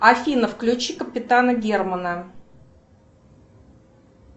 афина включи капитана германа